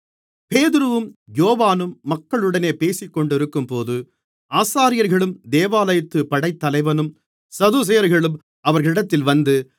பேதுருவும் யோவானும் மக்களுடனே பேசிக்கொண்டிருக்கும்போது ஆசாரியர்களும் தேவாலயத்துப் படைத்தலைவனும் சதுசேயர்களும் அவர்களிடத்தில் வந்து